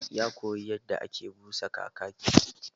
Ya koyi yadda ake busa kakaki